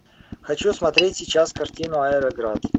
хочу смотреть сейчас картину аэроград